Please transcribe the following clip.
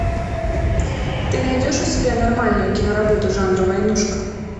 ты найдешь у себя нормальную киноработу жанра войнушка